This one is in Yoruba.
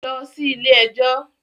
Lọ sí ilé ẹjọ́.